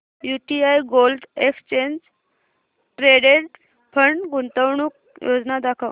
UTI gold exchange traded fund गुंतवणूक योजना दाखव